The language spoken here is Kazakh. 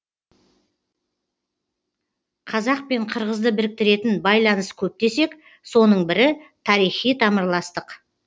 қазақ пен қырғызды біріктіретін байланыс көп десек соның бірі тарихи тамырластық